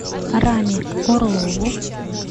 раме орлову